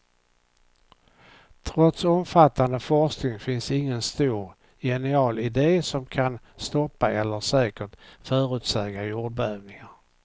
Trots omfattande forskning finns ingen stor, genial idé som kan stoppa eller säkert förutsäga jordbävningar.